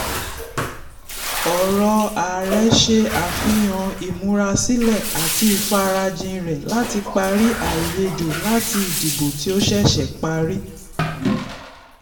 ọ̀rọ̀ ààrẹ ṣe àfihàn ìmúrasílẹ̀ àti ìfarajìn rẹ̀ láti parí àìyedè láti ìdìbò tí ó sẹ̀sẹ̀ parí.